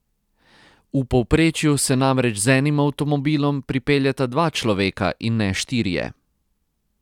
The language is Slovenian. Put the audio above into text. V povprečju se namreč z enim avtomobilom pripeljeta dva človeka in ne štirje.